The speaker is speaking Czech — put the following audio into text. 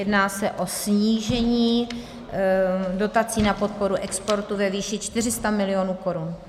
Jedná se o snížení dotací na podporu exportu ve výši 400 mil. korun.